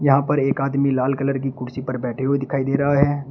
यहां पर एक आदमी लाल कलर की कुर्सी पर बैठे हुए दिखाई दे रहा है।